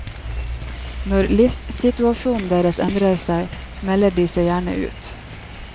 Når livssituasjonen deres endrer seg, melder de seg gjerne ut.